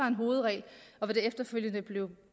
en hovedregel og efterfølgende blev